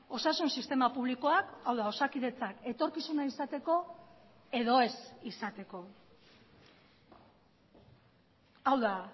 osasun sistema publikoak hau da osakidetzak etorkizuna izateko edo ez izateko hau da